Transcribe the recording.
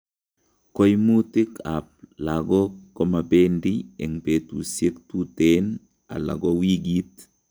Koimutik ab logok komabendi eng' betusiek tuteen ala ko wikit